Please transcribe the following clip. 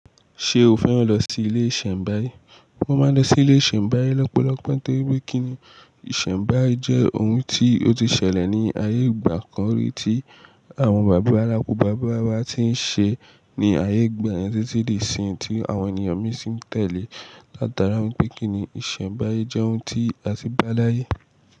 Ṣe o fẹ́ran lọ sí ilé ìsẹ̀mbáyé? Wọn máa ń lọ sí ilé ìsẹ̀mbáyé lọ́pọ̀lọpọ̀ nítorí pé kíni ìsẹ̀mbáyé jẹ́ ohun tí ó ti ṣẹlẹ̀ ní ayé ìgbà kan rí tí àwọn bàbá la ku bàbá wa ti ń ṣe ní ayé ìgbà yẹn títí dé ìsinyi tí àwọn ènìyàn mí sì ń tẹ̀lé látara wípé kíni ìsẹ̀mbáyé jẹ́ ohun tí a ti bá láyé.